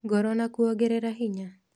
ngoro na kuongerera hinya.